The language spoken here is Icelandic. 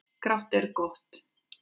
Grátt er gott.